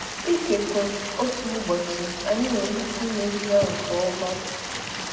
Ikekwe otu ụbọchị anyị nwere ike imezi ya nke ọma.